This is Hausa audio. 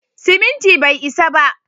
Siminti bai isa ba.